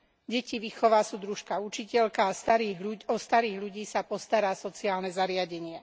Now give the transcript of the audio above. Deti vychová súdružka učiteľka a o starých ľudí sa postará sociálne zariadenie.